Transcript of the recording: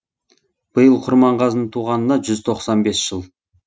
биыл құрманғазының туғанына жүз тоқсан бес жыл